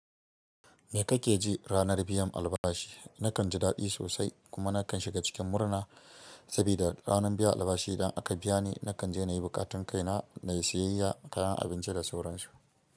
Me kake ji ranar biyan albashi? Nakan ji daɗi sosai kuma nakan shiga cikin murna sabida ranar biyan albashi idan aka biya ni nakan je nayi buƙatun kaina na siyayya kayan abinci da sauran su.